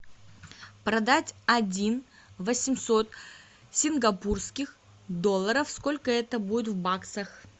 продать один восемьсот сингапурских долларов сколько это будет в баксах